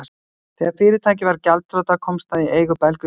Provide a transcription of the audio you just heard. Þegar fyrirtækið varð gjaldþrota komst það í eigu belgískra fjárfesta.